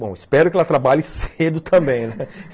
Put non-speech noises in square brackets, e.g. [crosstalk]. Bom, espero que ela trabalhe [laughs] cedo também, né?